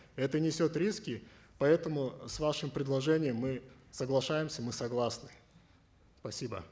это несет риски поэтому с вашим предложением мы соглашаемся мы согласны спасибо